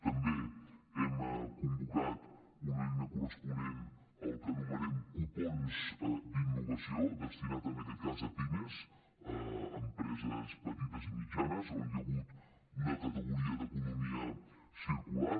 també hem convocat una eina corresponent a la que anomenem cupons d’innovació destinat en aquest cas a pimes empreses petites i mitjanes on hi ha hagut una categoria d’economia circular